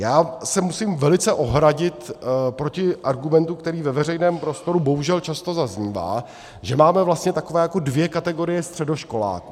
Já se musím velice ohradit proti argumentu, který ve veřejném prostoru bohužel často zaznívá, že máme vlastně takové jako dvě kategorie středoškoláků.